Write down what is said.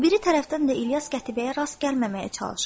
O biri tərəfdən də İlyas qətibəyə rast gəlməməyə çalışırdı.